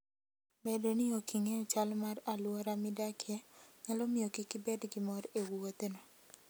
Bedo ni ok ing'eyo chal mar alwora midakie, nyalo miyo kik ibed gi mor e wuodhno.